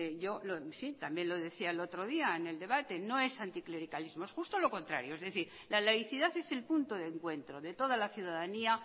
yo sí también lo decía el otro día en el debate no es anticlericarismo es justo lo contrario es decir la laicidad es el punto de encuentro de toda la ciudadanía